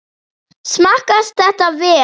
Smakkast þetta vel?